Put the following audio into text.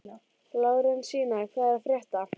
Lárensína, hvað er að frétta?